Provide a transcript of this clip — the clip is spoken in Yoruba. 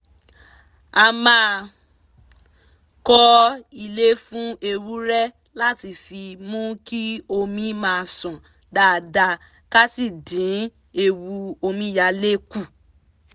a máa kọ́ ilé fún ewúrẹ́ láti fi mú kí omi máa ṣàn dáadáa ká sì dín ewu omíyalé kù